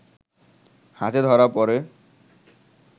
হাতে ধরা পড়ে